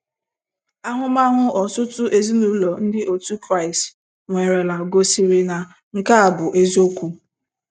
Ahụmahụ ọtụtụ ezinụlọ ndị otu Kraịst nwerela gosịrị na nke a bụ eziokwu.